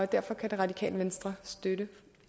derfor kan radikale venstre støtte